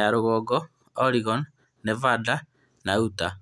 ya Rũgongo, Oregon, Nevada, na Utah.